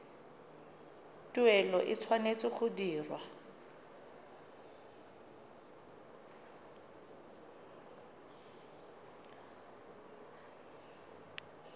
tuelo e tshwanetse go dirwa